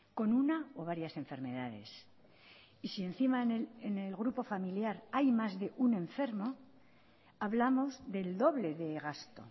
con una o varias enfermedades y si encima en el grupo familiar hay más de un enfermo hablamos del doble de gasto